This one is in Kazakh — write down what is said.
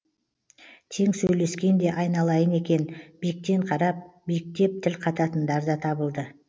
тең сөйлескен де айналайын екен биіктен қарап биіктеп тіл қататындар да табылды